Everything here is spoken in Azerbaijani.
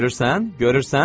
Görürsən, görürsən?